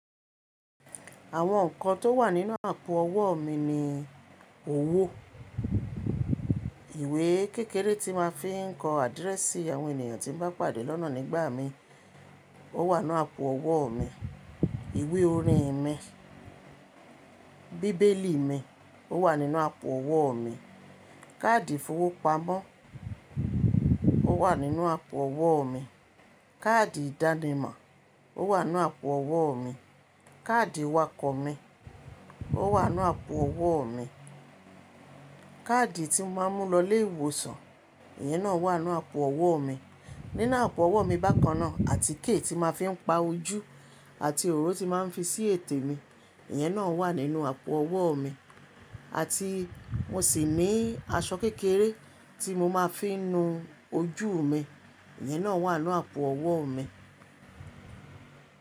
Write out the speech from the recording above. Àwọn nǹkan tó wà nínú àpò ọwọ́ mi ni owó, ìwé kékeré tí máa ń fi ń kọ́ àdírẹ́sì àwọn ènìyàn tí ń bá pàdé lọ́nà nígbà mi, ó wà nínú àpò ọwọ́ mi, ìwé orin mi, bíbélì mi ó wà nínú àpò ọwọ́ mi, káàdì ìfowópamọ́ ó wà nínú àpò ọwọ́ mi, káàdì ìdánimọ̀ ó wà nínú àpò ọwọ́ mi, káàdì iwakọ̀ mi ó wà nínú àpò ọwọ́ mi, káàdì tí mo máa ń mú lọ ilé ìwòsàn, ìyẹn náà wà nínú àpò ọwọ́ mi. Nínú àpò ọwọ́ mi bákan náà àtíkè tí màá fi ń pa ojú àti òróró tí màá ń fi ṣí ètè mi, ìyẹn náà wà nínú àpò ọwọ́ mi àti mo sì ní aṣọ kékeré tí mo máa ń fi nu ojú mi, ìyẹn náà wà nínú àpò ọwọ́ mi.